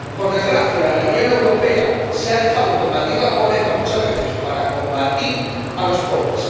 Por desgracia, en la Unión Europea se ha dejado de combatir la pobreza muchas veces para combatir a los pobres.